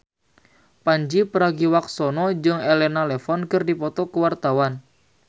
Pandji Pragiwaksono jeung Elena Levon keur dipoto ku wartawan